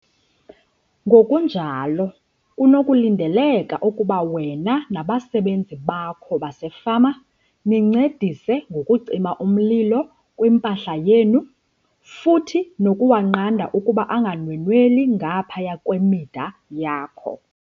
Ngokunjalo kunokulindeleka ukuba wena nabasebenzi bakho basefama nincedise ngokucima umlilo kwimpahla yenu futhi nokuwunqanda ukuba unganwenweli ngaphaya kwemida yakho.